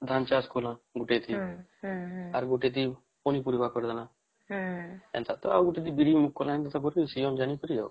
ଧାନ ଚାଷ କଲେ ଗୋଟେ ଦିନ